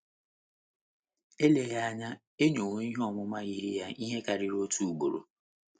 Eleghịkwa anya, e nyewo ihe ọmụma yiri ya ihe karịrị otu ugboro.